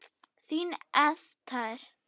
Þín Esther.